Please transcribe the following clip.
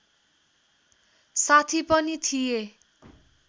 साथी पनि थिए